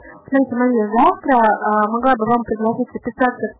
волгодонск